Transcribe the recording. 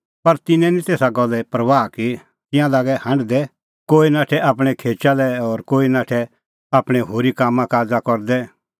पर तिन्नैं निं तेसा गल्ले परबाह की तिंयां लागै हांढदै कोई नाठै आपणैं खेचा लै और कोई नाठै आपणैं होरी कामकाज़ करदै